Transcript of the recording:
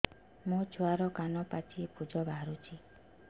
ମୋ ଛୁଆର କାନ ପାଚି ପୁଜ ବାହାରୁଛି